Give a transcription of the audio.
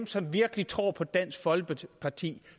som virkelig tror på dansk folkeparti